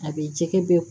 A bɛ jɛgɛ bɛɛ